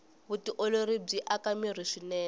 vutiolori byi aka mirhi swinene